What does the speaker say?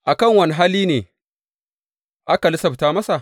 A kan wane hali ne aka lissafta masa?